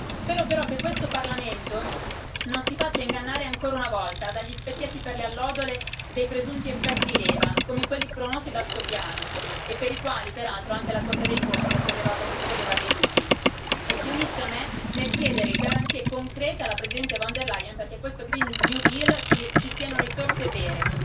Spero, però, che questo Parlamento non si faccia ingannare ancora una volta dagli specchietti per le allodole e dai presunti effetti leva come quelli promossi dal Suo piano e per i quali, peraltro, anche la Corte dei conti ha sollevato e solleva dei dubbi e si unisca a me nel chiedere garanzie concrete alla Presidente von der Leyen perché in questo Green New Deal ci siano risorse vere.